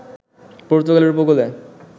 পর্তুগালের ঊপকূলে